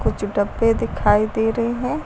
कुछ डब्बे दिखाई दे रहे हैं।